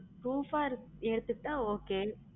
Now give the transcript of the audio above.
Proof ஆ எடுத்து கிட்ட okay